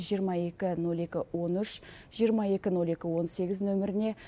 жиырма екі ноль екі он үш жиырма екі ноль екі он сегіз нөміріне